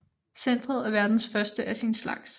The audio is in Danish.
Centret er verdens første af sin slags